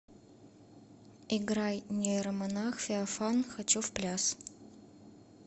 играй нейромонах феофан хочу в пляс